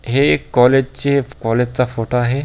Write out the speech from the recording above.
हे कॉलेज चे कॉलेज चा फोटो आहे.